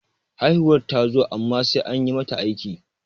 haihuwar ta zo amma sai an yi mata aiki